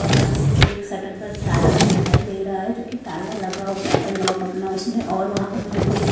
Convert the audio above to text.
और यहां पर मेरे को एक सटर पर ताला भी दिखाई दे रहा है जो कि ताला लगा हुआ है लॉक अपना उसमें और वहां पर मुझे कोई--